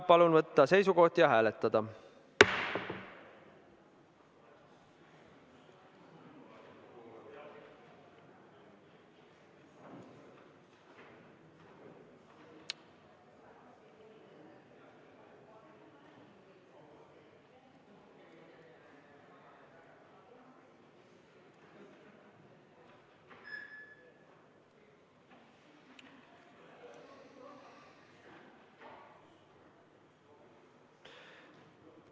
Palun võtta seisukoht ja hääletada!